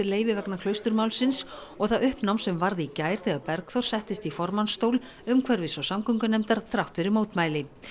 leyfi vegna Klausturmálsins og það uppnám sem varð í gær þegar Bergþór settist í formannsstól umhverfis og samgöngunefndar þrátt fyrir mótmæli